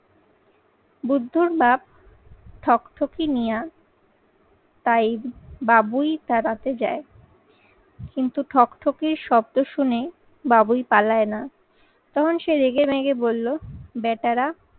বুদ্ধর বাপ ঠকঠকি নিয়া তাই বাবুই তাড়াতে যাই। কিন্তু ঠক ঠকের শব্দ শুনে বাবুই পালায় না, তখন সে রেগেমেগে বললো বেটারা